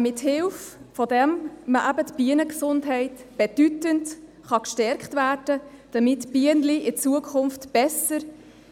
Mit dessen Hilfe kann man eben die Bienengesundheit bedeutend stärken, damit die Bienen in Zukunft besser